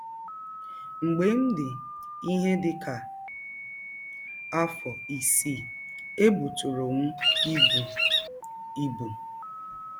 “ Mgbe m dị ihe dị ka afọ isii, ebụtụrụ m ibụ. ibụ.